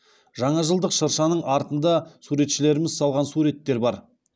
жаңа жылдық шыршаның артында суретшілеріміз салған суреттер бар